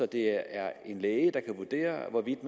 det er en læge der kan vurdere hvorvidt